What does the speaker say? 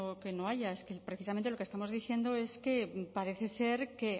que no que no haya precisamente lo que estamos diciendo es que parece ser que